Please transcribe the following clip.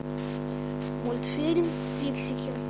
мультфильм фиксики